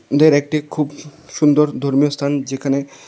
একটি খুব সুন্দর ধর্মীয় স্থান যেখানে--